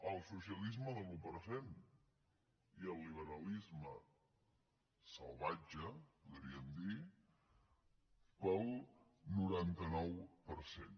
el socialisme de l’un per cent i el liberalisme salvatge podríem dir per al noranta nou per cent